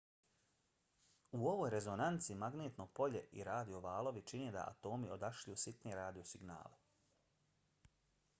u ovoj rezonanci magnetno polje i radio valovi čine da atomi odašilju sitne radio signale